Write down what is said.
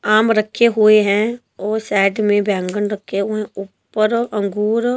आम रखे हुए हैं और साइड में बैंगन रखे हुए हैं ऊपर अंगूर--